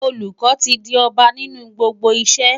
Olùkọ́ ti di ọba nínú gbogbo iṣẹ́.